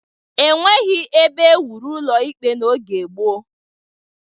E nweghi ebe e wuru ụlọ ikpe n'oge gboo.